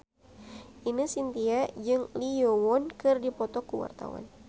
Ine Shintya jeung Lee Yo Won keur dipoto ku wartawan